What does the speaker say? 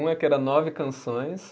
Um é que era nove canções.